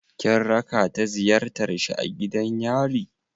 Kin raka ta ziyartar shi a gidan yari?